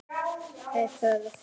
Það er þörf.